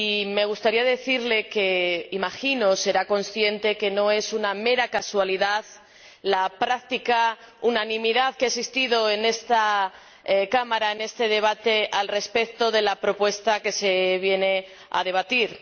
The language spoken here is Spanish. Me gustaría decirle que, imagino, será consciente de que no es una mera casualidad la práctica unanimidad que ha existido en esta Cámara, en este debate, respecto de la propuesta que se viene a debatir.